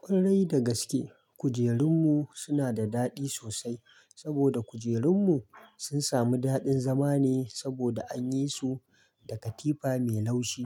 Kwarai da gaske kujerun mu suna da daɗi sosai saboda kujerun mu sun samu daɗin zama ne saboda an yi su da katifa mai laushi.